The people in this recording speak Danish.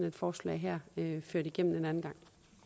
et forslag her ført igennem en anden gang